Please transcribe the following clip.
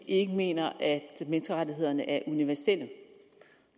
ikke mener at menneskerettighederne er universelle